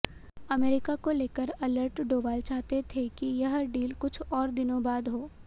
America को लेकर alert Doval चाहते थे कि यह डील कुछ और दिनों बाद हो